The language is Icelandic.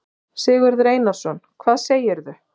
Sigurður Einarsson: Hvað segirðu?